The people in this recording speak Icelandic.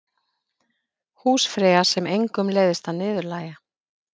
Húsfreyja sem engum leiðst að niðurlægja.